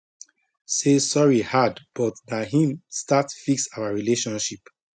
say sorry hard but na him start fix our relationship